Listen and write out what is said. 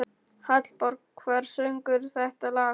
Hallborg, hver syngur þetta lag?